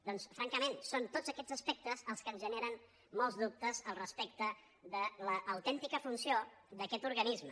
doncs francament són tots aquests aspectes els que ens generen molts dubtes respecte de l’autèntica funció d’aquest organisme